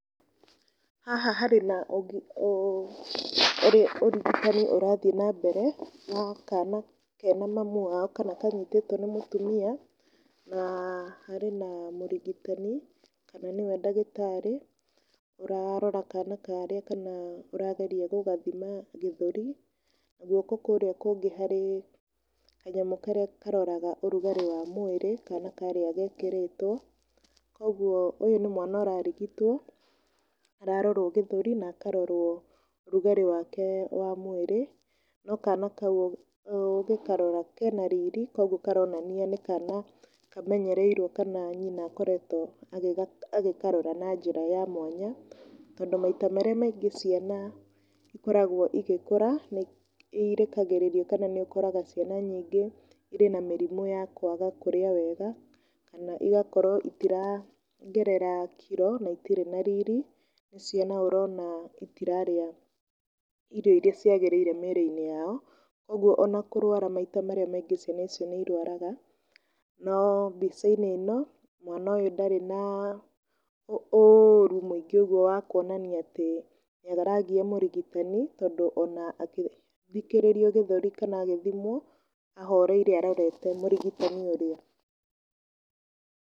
Haha harĩ na ũrigitani ũrathiĩ na mbere, wa kana kena mami wao kana kanitĩtwo nĩ mũtumia, na harĩ na mũrigitani kana nĩwe ndagĩtarĩ ũrarora kana karĩa kana ũrageria gũgathima gĩthũri. Guoko kũrĩa kũngĩ harĩ kanyamũ karĩa karoraga ũrũgarĩ wa mwĩrĩ kana karĩa gekĩrĩtwo. Koguo ũyũ nĩ mwana ũrarigitwo ũrarorwo gĩthũri na akarorwo rugarĩ wake wa mwĩrĩ. No kana kau ũgĩkarora kena riri koguo karonania nĩ kana kamenyereirwo kana nyina akoretwo agĩkarora na njĩra ya mwanya. Tondũ maita marĩa maingĩ ciana ikoragwo igĩkũra nĩ irekagĩrĩragio kana nĩ ũkoraga ciana nyingĩ irĩ na mĩrimũ ya kwaga kũrĩa wega, kana igakorwo itiraongerera kiro na itirĩ na riri, nĩ ciana ũrona itiraria irio iria ciagĩrĩire mĩrĩ-inĩ yao, koguo ona kũrũara maita marĩa maingĩ ciana ici nĩ irũaraga. No mbica-inĩ ĩno, mwana ũyũ ndarĩ na ũru mũingĩ ũguo wakũonania atĩ nĩ aragia mũrigitani tondũ ona agĩthikĩrĩria gĩthũri kana agĩthimwo ahoreire arorete mũrigitani ũrĩa.